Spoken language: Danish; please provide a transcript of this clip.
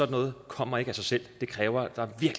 noget kommer ikke af sig selv det kræver at der